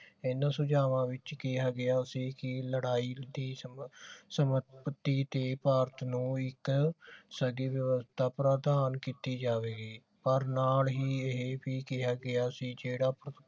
ਇੰਨਾ ਸੁਝਾਵਾਂ ਵਿਚ ਕਿਹਾ ਗਿਆ ਸੀ ਕਿ ਲੜਾਈ ਦੀ ਤੇ ਭਾਰਤ ਨੂੰ ਇਕ ਪ੍ਰਦਾਨ ਕੀਤੀ ਜਾਵੇਗੀ ਪਰ ਨਾਲ ਵੀ ਇਹੇ ਵੀ ਕਿਹਾ ਗਿਆ ਸੀ ਜਿਹੜਾ